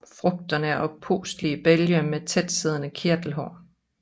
Frugterne er oppustede bælge med tætsiddende kirtelhår